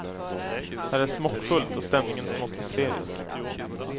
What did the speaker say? Här är smockfullt och stämningen smått hysterisk.